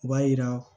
U b'a yira